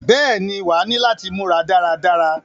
Bẹ́ẹ̀ ni, wàá ní láti múra dára dára.